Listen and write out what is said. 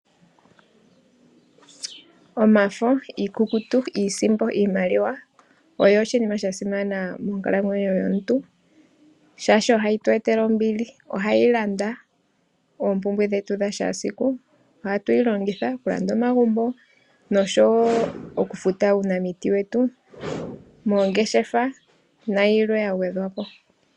Omafo, iikukutu, iisimpo, iimaliwa, oyo oshinima sha simana monkalamwenyo yomuntu, shaashi ohayi tu etele ombili. Ohayi landa oompumbwe dhetu dha kehe esiku, ohatu yi longitha oku landa omagumbo, noshowo oku futa uunamiti wetu, moongeshefa nayilwe ya gwedhwapo.